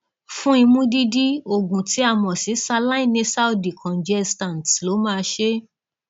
fún imú dídí oògùn tí a mọ sí saline nasal decongestants ló máa ṣe é